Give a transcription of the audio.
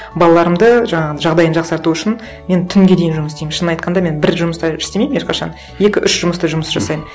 балаларымды жаңағы жағдайын жақсарту үшін мен түнге дейін жұмыс істеймін шынын айтқанда мен бір жұмыста істемеймін ешқашан екі үш жұмыста жұмыс жасаймын